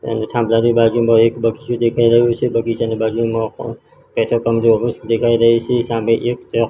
અને થાંભલાની બાજુમાં એક બગીચો દેખાય રહ્યો છે બગીચાની બાજુમાં પેટ્રોલ પંપ દેખાય રહી છે સામે એક--